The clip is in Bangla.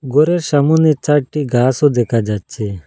গরের সামনে চারটি গাসও দেখা যাচ্ছে।